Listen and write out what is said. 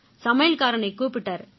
சமையல்காரனைக் கூப்பிட்டாரு